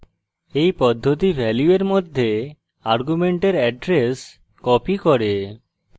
এই পদ্ধতি value এর মধ্যে argument এড্রেস copies করে